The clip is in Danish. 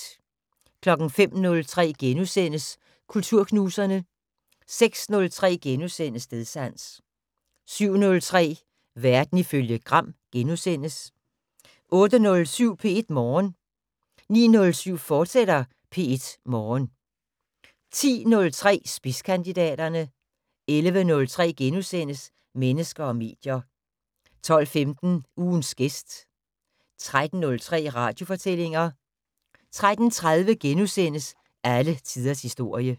05:03: Kulturknuserne * 06:03: Stedsans * 07:03: Verden ifølge Gram * 08:07: P1 Morgen 09:07: P1 Morgen, fortsat 10:03: Spidskandidaterne 11:03: Mennesker og medier * 12:15: Ugens gæst 13:03: Radiofortællinger 13:30: Alle tiders historie *